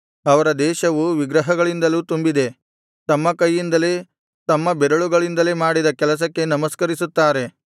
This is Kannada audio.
ಅವರ ದೇಶವು ವಿಗ್ರಹಗಳಿಂದಲೂ ತುಂಬಿದೆ ತಮ್ಮ ಕೈಯಿಂದಲೇ ತಮ್ಮ ಬೆರಳುಗಳಿಂದಲೇ ಮಾಡಿದ ಕೆಲಸಕ್ಕೆ ನಮಸ್ಕರಿಸುತ್ತಾರೆ